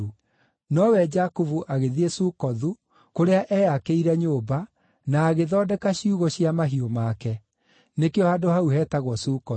Nowe Jakubu, agĩthiĩ Sukothu, kũrĩa eyakĩire nyũmba, na agĩthondeka ciugũ cia mahiũ make. Nĩkĩo handũ hau hetagwo Sukothu.